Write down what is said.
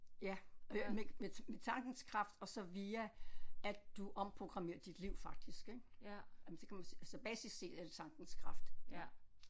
Ja øh med med med tankens kraft og så via at du omprogrammerer dit liv faktisk ik jamen så kan man altså basis set er det tankens kraft